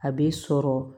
A bɛ sɔrɔ